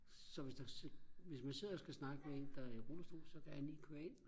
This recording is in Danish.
så hvis der hvis man sidder og skal snakke med en der er i rullestol så kan han lige køre ind